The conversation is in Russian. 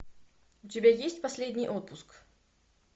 у тебя есть последний отпуск